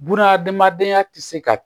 Bunahadamadenyaya tɛ se ka